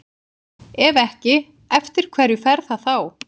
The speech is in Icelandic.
Ef ekki, eftir hverju fer það þá?